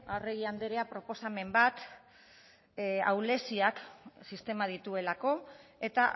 arregi anderea proposamen bat ahuleziak sistemak dituelako eta